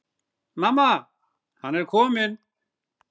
Mamma, hann er kominn!